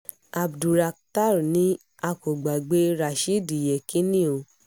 abdulrakhtar ni a kò gbàgbé rashidi yekini o